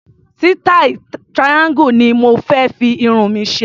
Sítáì triangle ni mo fé fi irun mi ṣe.